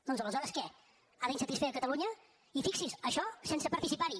doncs aleshores què ha d’insatisfer catalunya i fixi’s això sense participar hi